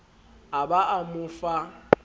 a ba a mo fa